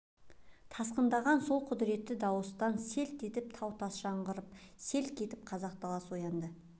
тасқындаған сол құдіретті дауыстан селт етіп тау-тас жаңғырып селк етіп қазақ даласы оянды